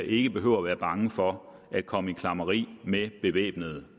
ikke behøver være bange for at komme i klammeri med bevæbnede